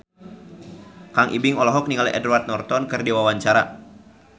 Kang Ibing olohok ningali Edward Norton keur diwawancara